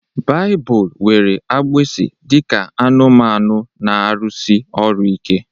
Baịbụl were agbụsi dị ka anụmanụ na-arụsi ọrụ ike